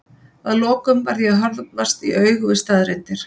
að lokum varð ég að horfast í augu við staðreyndir.